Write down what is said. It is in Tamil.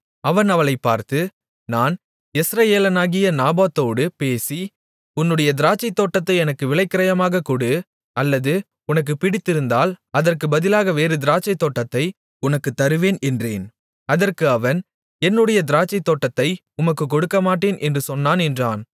அவன் அவளைப் பார்த்து நான் யெஸ்ரயேலனாகிய நாபோத்தோடு பேசி உன்னுடைய திராட்சைத்தோட்டத்தை எனக்கு விலைக்கிரயமாகக் கொடு அல்லது உனக்கு பிடித்திருந்தால் அதற்குப் பதிலாக வேறு திராட்சைத்தோட்டத்தை உனக்குத் தருவேன் என்றேன் அதற்கு அவன் என்னுடைய திராட்சைத்தோட்டத்தை உமக்குக் கொடுக்கமாட்டேன் என்று சொன்னான் என்றான்